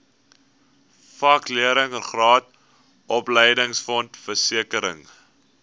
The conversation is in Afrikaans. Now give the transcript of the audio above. vakleerlingraad opleidingsfonds versekering